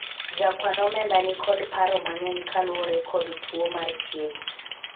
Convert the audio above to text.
jakwan omenda nikod paro mang'eny kaluwore kod tuo mar chiegi